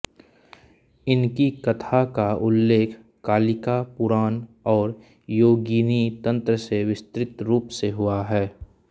इनकी कथा का उल्लेख कालिका पुराण और योगिनी तंत्र में विस्तृत रूप से हुआ है